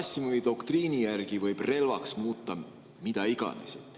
Gerassimovi doktriini järgi võib relvaks muuta mida iganes.